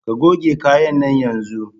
Ka goge kayan nan yanzun!